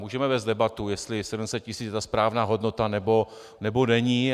Můžeme vést debatu, jestli 700 tisíc je ta správná hodnota, nebo není.